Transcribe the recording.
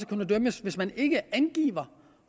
kunne dømmes hvis man ikke angiver